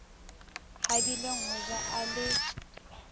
habileng ho ja a le